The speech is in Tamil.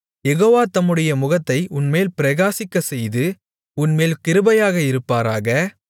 யெகோவா தம்முடைய முகத்தை உன்மேல் பிரகாசிக்கச்செய்து உன்மேல் கிருபையாக இருபாராக